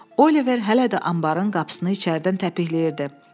Oliver hələ də anbarın qapısını içəridən təpikləyirdi.